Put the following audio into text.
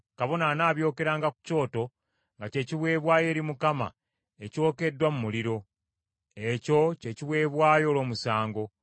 Kabona anaabyokeranga ku kyoto nga kye kiweebwayo eri Mukama ekyokeddwa mu muliro. Ekyo kye kiweebwayo olw’omusango.